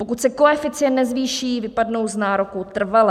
Pokud se koeficient nezvýší, vypadnou z nároku trvale.